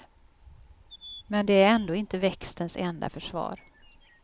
Men det är ändå inte växtens enda försvar.